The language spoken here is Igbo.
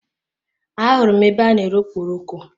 A hụrụ m ebe a n'ere okporoko.